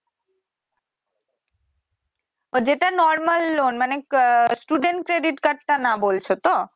but যেটা normal loan মানে আহ student credit card টা না বলছো তো